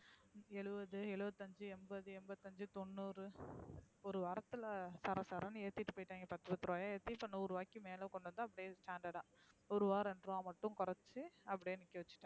எழுவது எழுவத் ஐந்து எம்பது எம்பதைந்து தொன்னூறு ஒரு வரத்த்ள சாரா. சார்னு ஏத்திட்டு போய்டய்ங்க பத்து பத்து ரூபாய ஏத்தி இப்போ நூறு ரூபாய்க்கு மேல ஏத்தி standard அ ஒரு ருபாய் ரெண்டு ரூபா மட்டும் கொறச்சு அப்டியே நிக்கவச்சுடைங்